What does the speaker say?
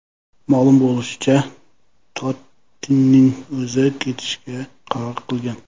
Ma’lum bo‘lishicha, Tottining o‘zi ketishga qaror qilgan.